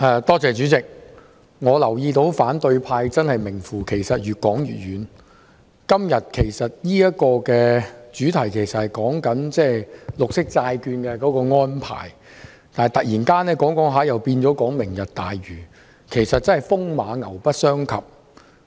代理主席，我留意到反對派名副其實是越說越遠，今天的議題其實是綠色債券的安排，但卻突然變為討論"明日大嶼"，確實是風馬牛不相及。